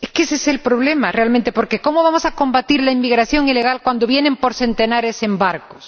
Es que ese es el problema realmente, porque ¿cómo vamos a combatir la inmigración ilegal cuando vienen por centenares en barcos?